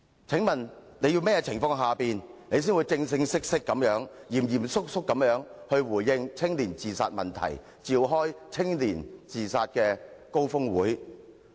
請問你要在甚麼情況下才會正式地、嚴肅地回應年青人的自殺問題，並召開關注青年自殺高峰會？